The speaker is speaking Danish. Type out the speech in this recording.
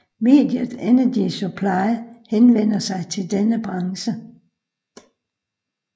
Mediet Energy Supply henvender sig til denne branche